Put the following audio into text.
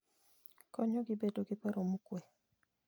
Konyogi bedo gi paro mokuwe.